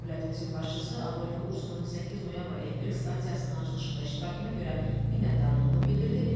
Dövlətimizin başçısı Adolfo Ursonun 8 noyabr elektrik stansiyasının açılışında iştirakına görə minnətdarlığını bildirdi.